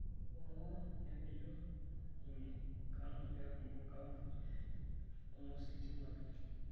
hoo, nemejo, ninye, kanu eeku enkapuni onositima pii.